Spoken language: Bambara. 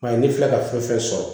Ayi ne filɛ ka fɛn fɛn sɔrɔ